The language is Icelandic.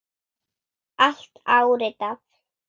Allt áritað.